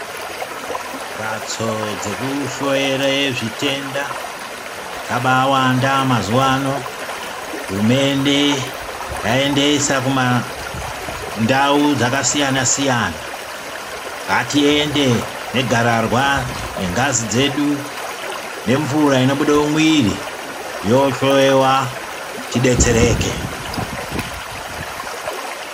Mbatso dzekuhloyera zvitenda dzabawanda mazuvaano hurumende yaendesa kundau dzakasiyana siyana ngatiende negararwa, nengazi dzedu nemvura inobude mumwiiri yohloyewa tidetsereke.